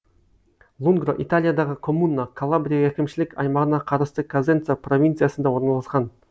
лунгро италиядағы коммуна калабрия әкімшілік аймағына қарасты козенца провинциясында орналасқан